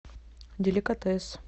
деликатес